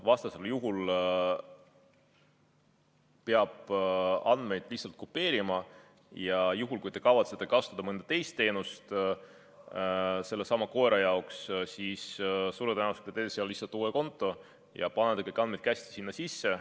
Vastasel juhul peab andmeid lihtsalt kopeerima ja juhul, kui te kavatsete kasutada mõnda teist teenust sellesama koera jaoks, siis suure tõenäosusega teete seal lihtsalt uue konto ja panete kõik andmed käsitsi sinna sisse.